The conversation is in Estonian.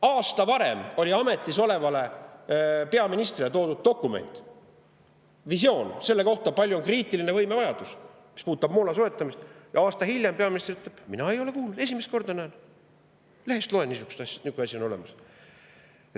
Aasta varem oli ametis olevale peaministrile toodud dokument, visioon selle kohta, kui suur on kriitiline võimevajadus, mis puudutab moona soetamist, ja aasta hiljem peaminister ütleb, et tema ei ole kuulnud, esimest korda näeb, lehest loeb, et nihuke asi on olemas.